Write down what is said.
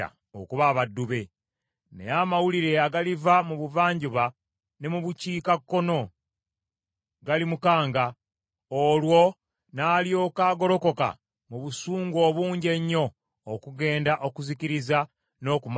Naye amawulire agaliva mu buvanjuba ne mu bukiikakkono galimukanga, olwo n’alyoka agolokoka mu busungu obungi ennyo okugenda okuzikiriza n’okumalawo bangi ku bo.